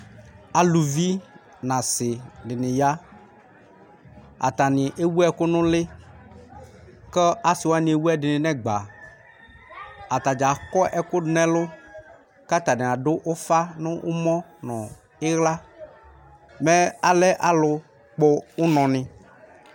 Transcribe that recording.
Aluvi nu asidini ya Atani ewu ɛku nu uli ku asiwani ewu ɛdini nu ɛgba Atadza akɔ ɛku du nu ɛlu ku atani adu ufa nu ɛmɔ nu iɣla Mɛ alɛ alu kpɔ unɔni